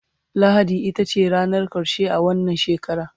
lahadi itace ranar karshe a wannan shekara